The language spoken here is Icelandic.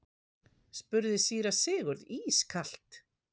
spurði síra Sigurður ískalt.